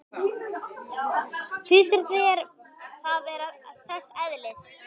Finnst þér það vera þess eðlis?